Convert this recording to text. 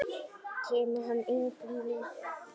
Kemur hann engum við?